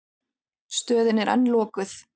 Stöðin er enn lokuð.